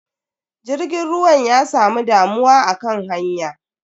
Jirgin ruwan ya samu damuwa akan hanya.